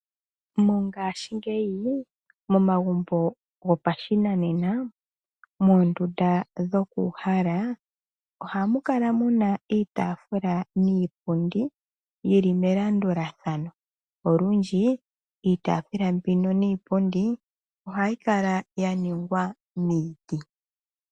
Mongaashingeyi momagumbo gopashinanena moondunda dhokuuhala ohamu kala muna iitaafula niipundi yili melandulathano. Olundji iitaafula niipundi mbino ohayi kala ya ningwa miiti.